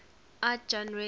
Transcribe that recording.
art genres